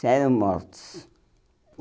Já eram mortos.